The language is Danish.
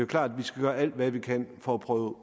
klart at vi skal gøre alt hvad vi kan for at prøve